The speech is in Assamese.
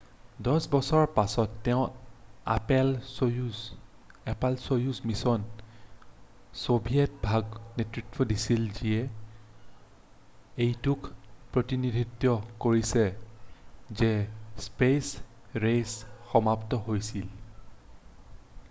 10 বছৰৰ পাছত তেওঁ এপ'ল'-সৌয়ুজ মিছনৰ ছোভিয়েট ভাগক নেতৃত্ব দিছিল যিয়ে এইটোক প্ৰতিনিধিত্ব কৰিছে যে স্পেচ ৰেচ সমাপ্ত হৈছিল৷